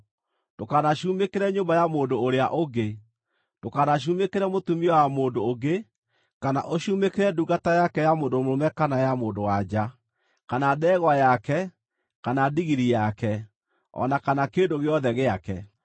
“Ndũkanacumĩkĩre nyũmba ya mũndũ ũrĩa ũngĩ. Ndũkanacumĩkĩre mũtumia wa mũndũ ũngĩ, kana ũcumĩkĩre ndungata yake ya mũndũ mũrũme kana ya mũndũ-wa-nja, kana ndegwa yake kana ndigiri yake, o na kana kĩndũ gĩothe gĩake.”